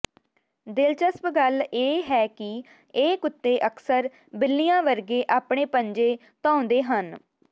ਦਿਲਚਸਪ ਗੱਲ ਇਹ ਹੈ ਕਿ ਇਹ ਕੁੱਤੇ ਅਕਸਰ ਬਿੱਲੀਆਂ ਵਰਗੇ ਆਪਣੇ ਪੰਜੇ ਧੋਉਂਦੇ ਹਨ